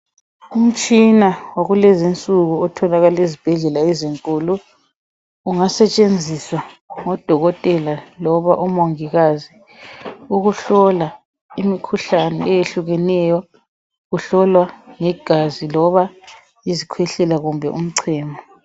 Umtshina wakulezinsuku otholakala ezibhedlela enkulu ungasetshenziswa ngodokotela loba omongikazi ukuhlola imikhuhlane eyehlukeneyo kuhlolwa legazi izikhwehlela loba umchemo.